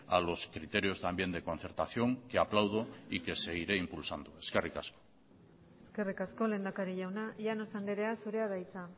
a los criterios también de concertación que aplaudo y que seguiré impulsando eskerrik asko eskerrik asko lehendakari jauna llanos andrea zurea da hitza